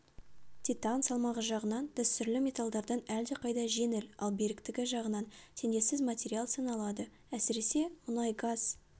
титан салмағы жағынан дәстүрлі металдардан әлдеқайда жеңіл ал беріктігі жағынан теңдессіз материал саналады әсіресе мұнай-газ